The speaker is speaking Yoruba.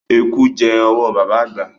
Eku jẹ́ owó baba àgbà.